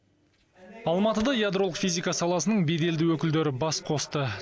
алматыда ядролық физика саласының беделді өкілдері бас қосты